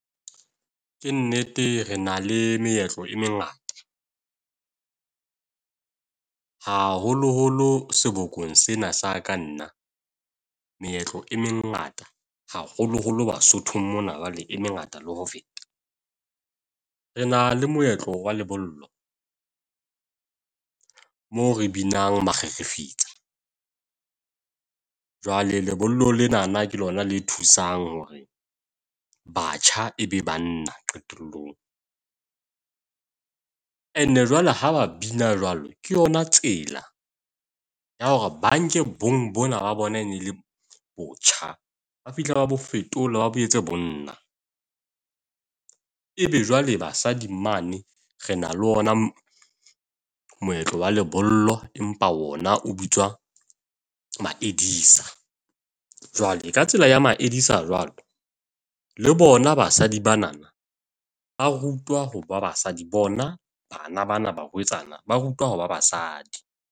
Ke nnete, re na le meetlo e mengata. Haholoholo sebokong sena sa ka nna meetlo e mengata haholoholo Basothong mona jwale e mengata le ho feta. Re na le moetlo wa lebollo. Moo re binang Makgakge fetsa jwale lebollo lenana ke lona le thusang hore batjha e be banna qetellong. Ene jwale ha ba bina jwalo, ke yona tsela ya hore ba nke bong bona ba bona e ne le botjha ba fihla ba bo fetole, ba boetse bonna. Ebe jwale basadi mane re na le ona moetlo wa lebollo, empa ona o bitswa jwale ka tsela ya ma jwalo le bona basadi bana ba rutwa hore ba basadi bona bana bana barwetsana ba rutwa ho ba basadi.